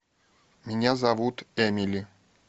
меня зовут эмили